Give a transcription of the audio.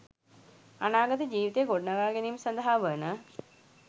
අනාගත ජීවිතය ගොඩනගා ගැනීම සඳහා වන